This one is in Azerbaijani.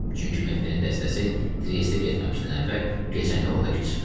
Çünki Mehdinin dəstəsi Triestə getməmişdən əvvəl gecəni orda keçirmişdi.